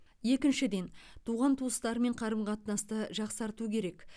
екіншіден туған туыстармен қарым қатынасты жақсарту керек